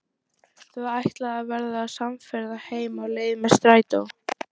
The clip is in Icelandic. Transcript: Þau ætla að verða samferða heim á leið með strætó.